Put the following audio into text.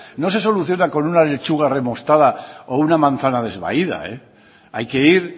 no se soluciona con una lechuga remostada o una manzana desvaída hay que ir